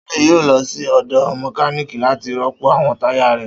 Sule yoo lọ si ọdọ mekaniki lati rọpo awọn taya rẹ.